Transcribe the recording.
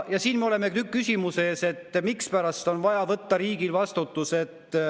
Me oleme küsimuse ees, mispärast on vaja riigil võtta vastutus.